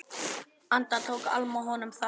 Enda tók Alma honum þannig.